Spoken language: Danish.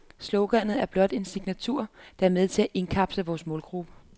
Sloganet er blot en signatur, der er med til at indkapsle vores målgruppe.